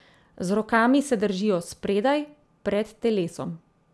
Z rokami se držijo spredaj, pred telesom.